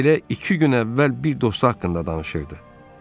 Elə iki gün əvvəl bir dostu haqqında danışırdı.